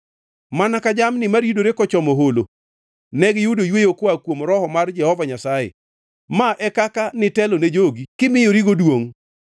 mana kaka jamni maridore kochomo holo, negiyudo yweyo koa kuom Roho mar Jehova Nyasaye. Ma e kaka nitelo ne jogi kimiyorigo duongʼ.